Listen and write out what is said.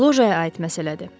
Lojaya aid məsələdir.